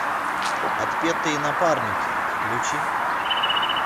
отпетые напарники включи